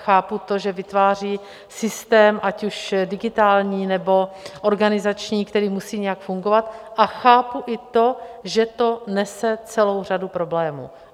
Chápu to, že vytváří systém, ať už digitální, nebo organizační, který musí nějak fungovat, a chápu i to, že to nese celou řadu problémů.